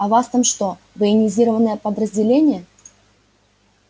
а у вас там что военизированное подразделение